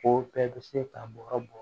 O bɛɛ bɛ se ka bɔrɔ bɔ